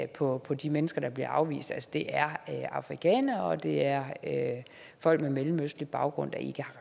på på de mennesker der bliver afvist at det er afrikanere og at det er folk med mellemøstlig baggrund